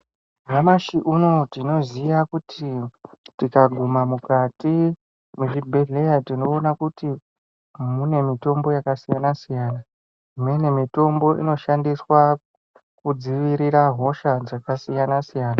Nyamashi unouyu tinoziya kuti tikagume mukati mezvibhedhleya tinoona kuti mune mutombo yakasiyana-siyana. Imweni mitombo inoshandiswa kudzivirira hosha dzakasiyana siyana.